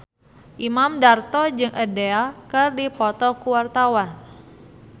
Imam Darto jeung Adele keur dipoto ku wartawan